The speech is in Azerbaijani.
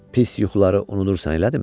Pis yuxuları unudursan, elədimi?